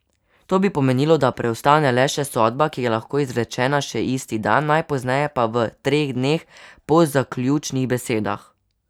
To bi pomenilo, da preostane le še sodba, ki je lahko izrečena še isti dan, najpozneje pa v treh dneh po zaključnih besedah.